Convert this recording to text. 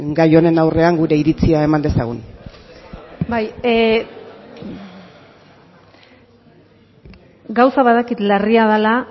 gai honen aurrean gure iritzia eman dezagun bai gauza badakit larria dela